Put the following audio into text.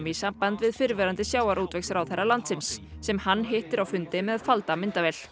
í samband við fyrrverandi sjávarútvegsráðherra landsins sem hann hittir á fundi með falda myndavél